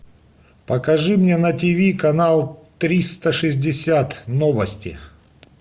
покажи мне на тв канал триста шестьдесят новости